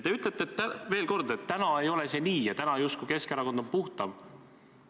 Te ütlete, veel kord, et täna ei ole see nii ja justkui Keskerakond on puhtam.